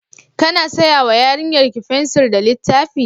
Kana saya wa yarinyarki fensir da littafi?